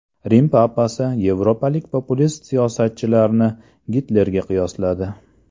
Rim papasi yevropalik populist siyosatchilarni Gitlerga qiyosladi.